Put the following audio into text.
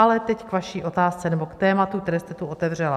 Ale teď k vaší otázce nebo k tématu, které jste tu otevřela.